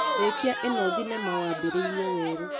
Rĩkia ĩno thinema wambĩrĩrie werũ.